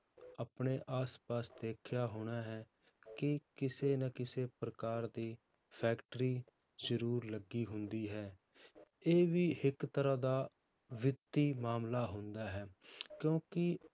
ਆਪਣੇ ਆਸ ਪਾਸ ਦੇਖਿਆ ਹੋਣਾ ਹੈ, ਕਿ ਕਿਸੇ ਨਾ ਕਿਸੇ ਪ੍ਰਕਾਰ ਦੀ ਫੈਕਟਰੀ ਜ਼ਰੂਰ ਲੱਗੀ ਹੁੰਦੀ ਹੈ, ਇਹ ਵੀ ਇੱਕ ਤਰ੍ਹਾਂ ਦਾ ਵਿੱਤੀ ਮਾਮਲਾ ਹੁੰਦਾ ਹੈ ਕਿਉਂਕਿ